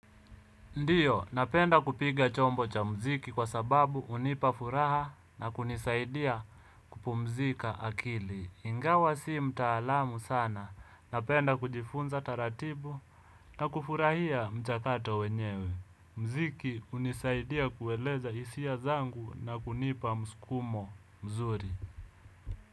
Ndiyo, napenda kupiga chombo cha muziki kwa sababu hunipa furaha na kunisaidia kupumzika akili. Ingawa si mtaalamu sana, napenda kujifunza taratibu na kufurahia mchakato wenyewe. Muziki hunisaidia kueleza hisia zangu na kunipa msukumo mzuri.